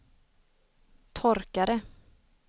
torkare